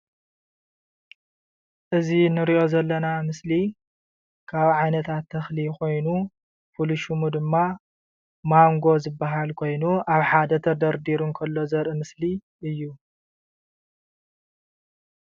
እዚ እንርእዮ ዘለና ምስሊ ካብ ዓሌታት ተክሊ ኮይኑ ፍሉይ ሽሙ ድማ ማንጎ ዝብሃል ኮይኑ ኣብ ሓደ ተደረዲሩ እንከሎ ዘርኢ ምስሊ እዩ።